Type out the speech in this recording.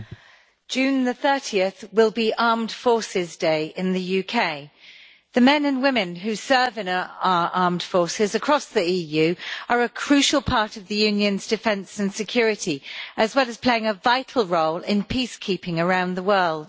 Madam President, 30 June will be Armed Forces Day in the UK. The men and women who serve in our armed forces across the EU are a crucial part of the Union's defence and security, as well as playing a vital role in peacekeeping around the world.